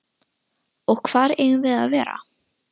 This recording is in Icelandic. Og hvar eigum við að vera?